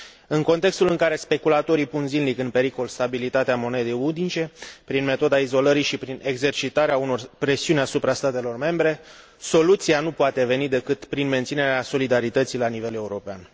În contextul în care speculatorii pun zilnic în pericol stabilitatea monedei unice, prin metoda izolării și prin exercitarea unor presiuni asupra statelor membre, soluția nu poate veni decât prin menținerea solidarității la nivel european.